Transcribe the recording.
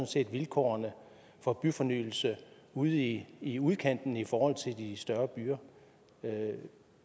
set vilkårene for byfornyelse ude i i udkanten i forhold til i de større byer